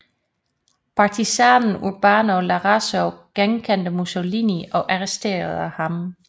Partisanen Urbano Lazzaro genkendte Mussolini og arresterede ham